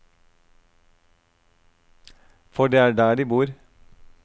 For det er der de bor.